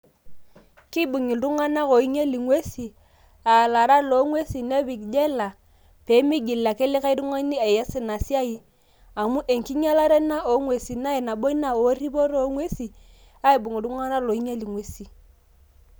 Kiibung' iltung'anak oinyel ing'uesin, a laarak lo ng'uesin nepik jela, pimiigil ake likae tung'ani aes inasiai amu enkinyalare ina o ng'uesin. Na nabo ina erripoto o ng'uesin aibung' iltung'anak loinyel ing'uesin.